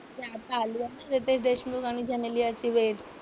ते आता आलि आहे ना रितेश देशमुख आणि जेनेलियाची वेड.